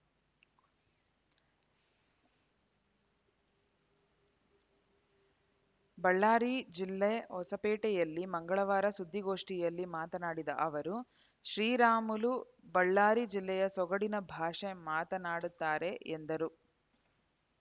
ಬಳ್ಳಾರಿ ಜಿಲ್ಲೆ ಹೊಸಪೇಟೆಯಲ್ಲಿ ಮಂಗಳವಾರ ಸುದ್ದಿಗೋಷ್ಠಿಯಲ್ಲಿ ಮಾತನಾಡಿದ ಅವರು ಶ್ರೀರಾಮುಲು ಬಳ್ಳಾರಿ ಜಿಲ್ಲೆಯ ಸೊಗಡಿನ ಭಾಷೆ ಮಾತನಾಡುತ್ತಾರೆ ಎಂದರು